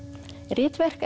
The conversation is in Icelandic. ritverk